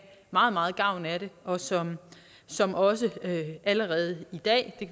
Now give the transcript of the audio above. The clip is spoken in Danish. meget meget gavn af det og som som også allerede i dag det